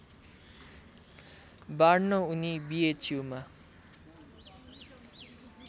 बाँड्न उनी बिएचयुमा